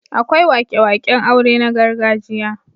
Akwai wake-waken aure na gargajiya.